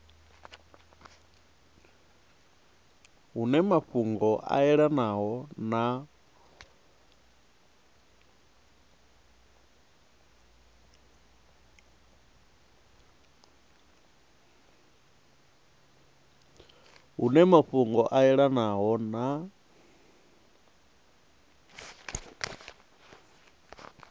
hune mafhungo a yelanaho na